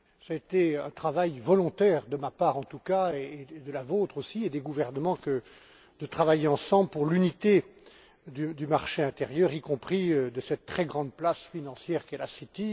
C'était un travail volontaire de ma part en tout cas, de la vôtre aussi, et de la part des gouvernements que de travailler ensemble pour l'unité du marché intérieur, y compris de cette très grande place financière qu'est la City